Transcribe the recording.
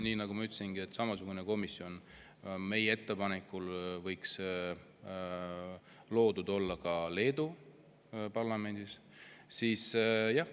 Nii nagu ma ütlesin, samasugune komisjon võiks meie ettepanekul olla loodud ka Leedu parlamendis.